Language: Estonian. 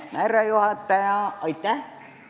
Austatud härra juhataja!